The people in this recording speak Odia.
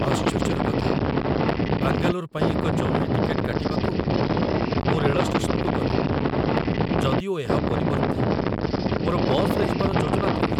ଆଶ୍ଚର୍ଯ୍ୟର କଥା, ବାଙ୍ଗାଲୋର ପାଇଁ ଏକ ଜରୁରୀ ଟିକେଟ୍‌ କାଟିବାକୁ ମୁଁ ରେଳ ଷ୍ଟେସନକୁ ଗଲି, ଯଦିଓ ଏହା ପରିବର୍ତ୍ତେ ମୋର ବସ୍‌ରେ ଯିବାର ଯୋଜନା ଥିଲା।